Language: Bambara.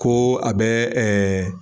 Ko a bɛ